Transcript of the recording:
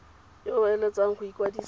yo o eletsang go ikwadisa